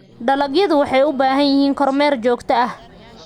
Dalagyadu waxay u baahan yihiin kormeer joogto ah.